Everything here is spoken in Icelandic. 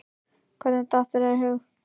Hvernig datt þér í hug að.